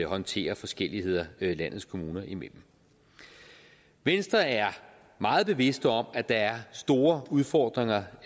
håndtere forskelligheder landets kommuner imellem venstre er meget bevidste om at der er store udfordringer